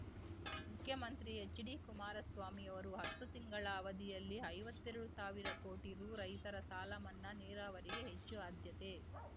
ಮುಖ್ಯಮಂತ್ರಿ ಹೆಚ್ಡಿ ಕುಮಾರಸ್ವಾಮಿಯವರು ಹತ್ತು ತಿಂಗಳ ಅವಧಿಯಲ್ಲಿ ಐವತ್ತೆರಡು ಸಾವಿರ ಕೋಟಿ ರೂ ರೈತರ ಸಾಲಮನ್ನಾ ನೀರಾವರಿಗೆ ಹೆಚ್ಚು ಆಧ್ಯತೆ